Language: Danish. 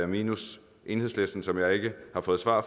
minus enhedslisten som jeg ikke har fået svar